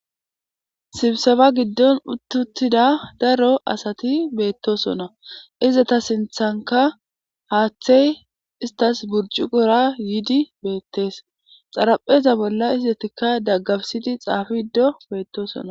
sibseba giddon uttuttida daro asati beettosona izata sinthanka haaththey istas burcu gora yiidi beettees xarapheza bolla isdetikka daggabisidi xaafi giddo beettosona